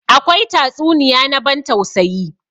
Akwai tatsuniya na ban tausayi.